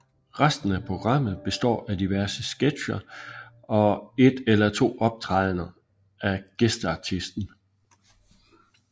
Resten af programmet består af diverse sketcher og et eller to optrædender af gæsteartisten